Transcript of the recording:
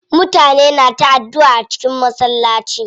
Mutane na ta addua a cikin masallaci.